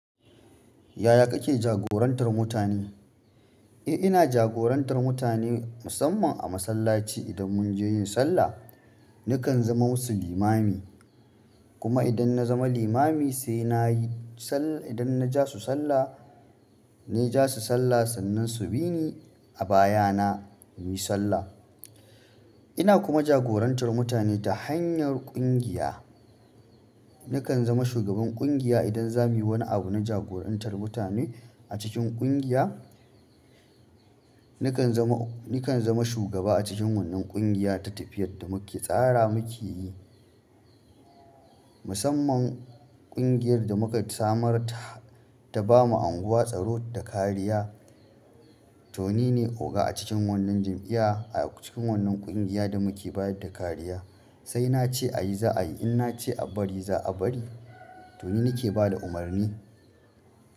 Yaya kake jagorantar mutane? Eh ina jagorantar mutane musamman a masallaci idan mun je yin sallah, nakan zama musu limami. Kuma idan na zama limami sai na yi sallah, idan na ja su sallah, na ja su sallah sannan su bi ni a baya na muyi sallah. Ina kuma jagorantar mutane ta hanyar ƙungiya. Nakan zama shugaban ƙungiya idan za muyi wani abu na jagorantar mutane a cikin ƙungiya. Nakan zama, nakan zama shugaba a cikin wannan ƙungiya ta tafiyar da muke tsara muke yi. Musamman ƙungiyar da muka samar ta, ta bama unguwa, tsaro da kariya. To nine oga a cikin wannan jami'iya, a cikin wannan ƙungiya da muke bayar da kariya. Sai na ce a yi za a yi, in na ce a bari za a bari. Toni nake bada umarni.